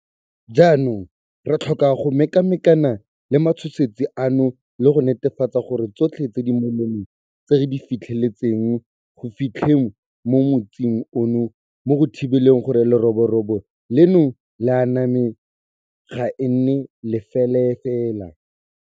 Jaanong re tlhoka go mekamekana le matshosetsi ano le go netefatsa gore tsotlhe tse di molemo tse re di fitlheletseng go fitlheng mo motsing ono mo go thibeleng gore leroborobo leno le aname ga e nne lefelafela.